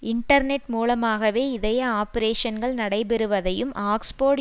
internet மூலமாகவே இதய ஆபரேஷன்கள் நடைபெறுவதையும் ஆக்ஸ்போர்டு